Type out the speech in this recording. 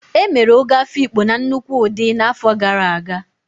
E mere Ọgọ Afiikpo na nnukwu ụdị n'afọ gara aga.